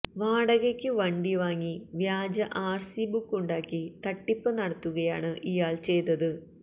വാടകയ്ക്ക് വണ്ടി വാങ്ങി വ്യാജ ആർസി ബുക്ക് ഉണ്ടാക്കി തട്ടിപ്പ് നടത്തുകയാണ് ഇയാൾ ചെയ്തത്